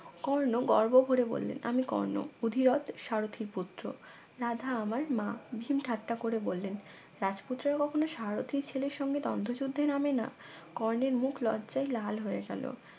কর্ণ গর্ব করে বললেন আমি কর্ণ অধিরথ সারথীর পুত্র রাধা আমার মা ভীম ঠাট্টা করে বললেন রাজপুত্রের কখনো সারথির ছেলের সঙ্গে দ্বন্দ্ব নামে না কর্ণের মুখ লজ্জায় লাল হয়ে গেল